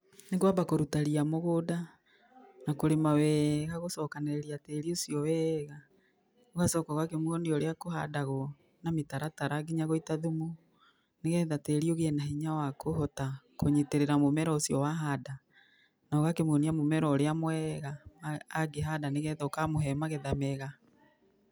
Nĩ kwamba kũruta ria mũgũnda na kũrĩma wega gũcokanĩrĩria tĩĩri ũcio wega ũgacoka ũgakĩmuonia ũrĩa kũhandagwo na mĩtaratara nginya gũita thumu, nĩgetha tĩĩri ũgĩe na hinya wa kũhota kũnyitĩrĩra mũmera ũcio wahanda, na ũgakĩmuonia mũmera ũrĩa mwega angĩhanda nĩgetha ũkamũhe magetha mega.